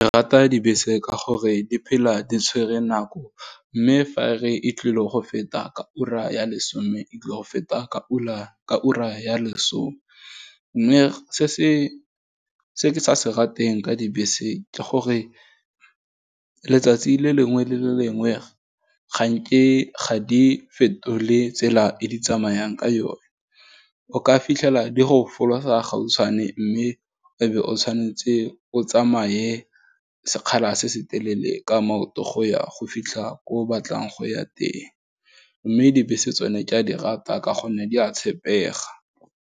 Ke rata dibese ka gore di phela di tshwere nako, mme fa e re, e tlile go feta ka ura ya lesome, e tlile go feta ka ka ura ya lesome, mme se ke sa se rateng ka dibese ke gore, letsatsi le lengwe le lengwe ga di fetole tsela e di tsamayang ka yone, o ka fitlhela di go folosa gautshwane mme, e be o tshwanetse o tsamaye sekgala se se telele, ka maoto, go ya go fitlha ko o batlang go ya teng. Mme dibese tsone ke a di rata ka gonne di a tshepega.